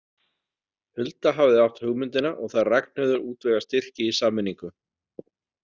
Hulda hafði átt hugmyndina og þær Ragnheiður útvegað styrki í sameiningu.